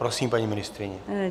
Prosím, paní ministryně.